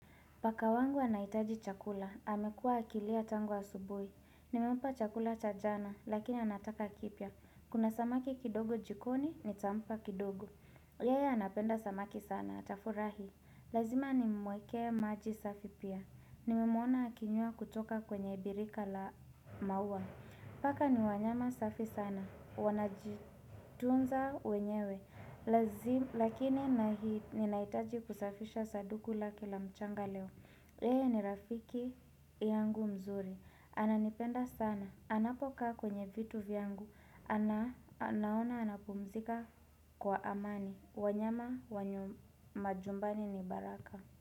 Paka wangu anahitaji chakula, amekua akilia tangu asubuhi. Nimempa chakula cha jana, lakini anataka kipya. Kuna samaki kidogo jikoni, nitampa kidogo. Yeye anapenda samaki sana, atafurahi. Lazima nimwekee maji safi pia. Nimemwona akinywa kutoka kwenye birika la maua. Paka ni wanyama safi sana, wanajitunza wenyewe. Lakini ninaitaji kusafisha saduku la kila mchanga leo yeye ni rafiki yangu mzuri Ananipenda sana anapoka kwenye vitu vyangu anaona anapumzika kwa amani wanyama wa majumbani ni baraka.